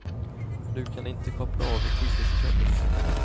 Du kan inte koppla av i tio sekunder.